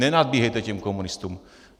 Nenadbíhejte těm komunistům.